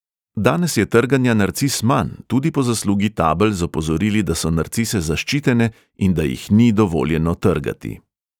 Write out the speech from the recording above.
Danes je trganja narcis manj, tudi po zaslugi tabel z opozorili, da so narcise zaščitene in da jih ni dovoljeno trgati.